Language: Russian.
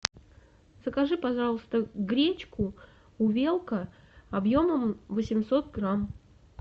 закажи пожалуйста гречку увелка объемом восемьсот грамм